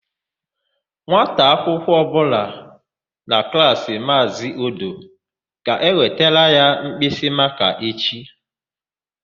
Nwata akwụkwọ ọbụla na Klaasị Maazị Odo ga-ewetara ya mkpịsịmakaa echi.